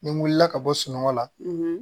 Ni n wulila ka bɔ sunɔgɔ la